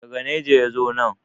daga Niger ya zo nan